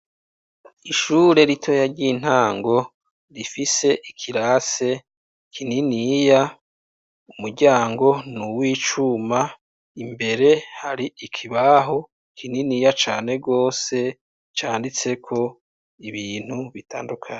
Ishure ritoya ry'intango rifise ikirasi kininiya, umuryango ni uw'icuma, imbere hari ikibaho kininiya cane gose canditseko ibintu bitandukanye.